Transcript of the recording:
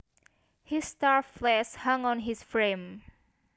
His starved flesh hung on his frame